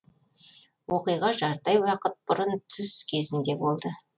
оқиға жарты ай уақыт бұрын түс кезінде болды